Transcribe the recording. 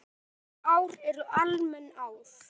Önnur ár eru almenn ár.